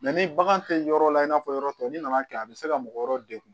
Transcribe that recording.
ni bagan tɛ yɔrɔ la i n'a fɔ yɔrɔ tɔ n'i nana kɛ a bɛ se ka mɔgɔ wɛrɛw degun